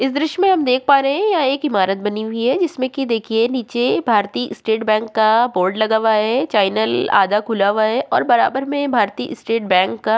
इस दृश्य में हम देख पा रहे हैं यहाँ एक इमरत बनी हुई है जिसमे की देखिये नीचे भारतीय स्टेट बैंक का बोर्ड लगा हुआ है चैनल आधा खुला हुआ है और बराबर में भारतीय स्टेट बैंक का --